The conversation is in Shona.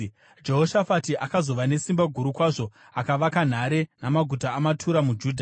Jehoshafati akazova nesimba guru kwazvo; akavaka nhare namaguta amatura muJudha;